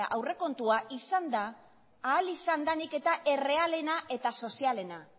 aurrekontua izan da ahal izan danik eta errealena eta sozialena